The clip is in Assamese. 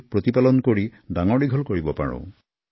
লগতে ইয়াৰ যতন আৰু লালনপালনৰো সংকল্প লোৱা উচিত